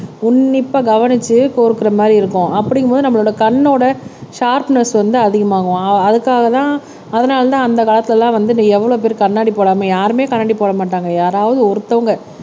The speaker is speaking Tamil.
உன்னிப்பா கவனிச்சு கோர்க்கிற மாதிரி இருக்கும் அப்படிங்கும்போது நம்மளோட கண்ணோட ஷார்ப்னஸ் வந்து அதிகமாகும் அதுக்காகதான் அதனாலதான் அந்த காலத்துலலாம் வந்து நீ எவ்வளவு பேரு கண்ணாடி போடாம யாருமே கண்ணாடி போட மாட்டாங்க யாராவது ஒருத்தவங்க